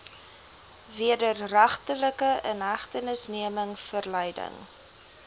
wederregtelike inhegtenisneming verleiding